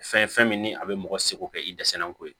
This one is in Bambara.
Fɛn fɛn min ni a bɛ mɔgɔ seko kɛ i dɛsɛra n ko ye